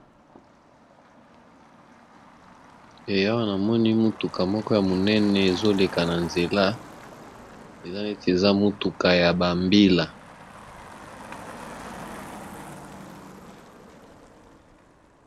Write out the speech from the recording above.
Ewa na moni motuka moko ya monene ezoleka na nzela eza neti eza motuka ya ba mbila.